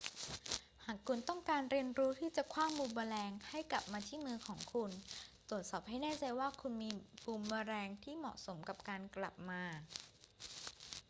หากคุณต้องการเรียนรู้ที่จะขว้างบูมเมอแรงให้กลับมาที่มือของคุณ ตรวจสอบให้แน่ใจว่าคุณมีบูมเมอแรงที่เหมาะสมสำหรับการกลับมา